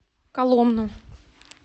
коломну